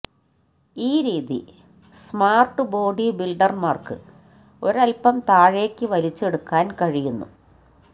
ഈ രീതി smart body ബിൽഡർമാർക്ക് ഒരൽപം താഴേക്ക് വലിച്ചെടുക്കാൻ കഴിയുന്നു